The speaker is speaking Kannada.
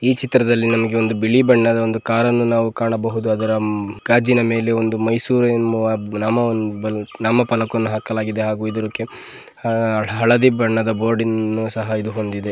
ಈ ಚಿತ್ರದ್ಲಲಿ ನಮಗೆ ಒಂದು ಬಿಳಿ ಬಣ್ಣದ ಕಾರ್ ಅನ್ನು ನಾವು ಕಾಣಬಹುದು ಅದರ ಕಾಜಿನ ಮೇಲೆ ಮೈಸೂರು ಎಂಬ ನಾಮ ಫಲಕ ಹಾಕಲಾಗಿದೆ ಹಾಗೂ ಹಲದಿ ಬಣ್ಣದ ಬೋರ್ಡನ್ನು ಸಹ ಹೊಂದಿದೆ.